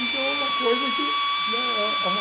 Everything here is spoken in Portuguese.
Então, é uma coisa que né é é uma